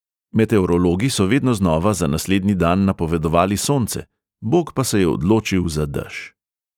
Meteorologi so vedno znova za naslednji dan napovedovali sonce, bog pa se je odločil za dež.